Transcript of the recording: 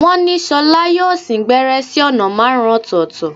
Wọ́n ní ṣọlá yóò sín gbẹ́rẹ́ sí ọ̀nà márùn-ún ọ̀tọ̀ọ̀tọ̀